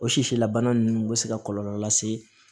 O sisi la bana ninnu bɛ se ka kɔlɔlɔ lase